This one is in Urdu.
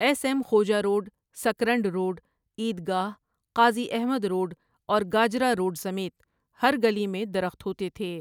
S M Khoja road, Sakrand road, عید گاہ، قاضی احمد روڈ اور گاجرا روڈ سمیت ہر گلی میں درخت ہوتے تھے ۔